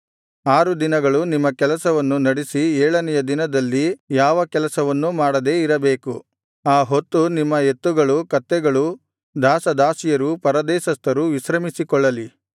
ಆರು ದಿನಗಳು ನಿಮ್ಮ ಕೆಲಸವನ್ನು ನಡಿಸಿ ಏಳನೆಯ ದಿನದಲ್ಲಿ ಯಾವ ಕೆಲಸವನ್ನು ಮಾಡದೇ ಇರಬೇಕು ಆ ಹೊತ್ತು ನಿಮ್ಮ ಎತ್ತುಗಳು ಕತ್ತೆಗಳು ದಾಸ ದಾಸಿಯರು ಪರದೇಶಸ್ಥರು ವಿಶ್ರಮಿಸಿಕೊಳ್ಳಲಿ